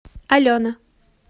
алена